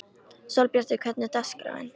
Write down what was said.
Sólbjartur, hvernig er dagskráin?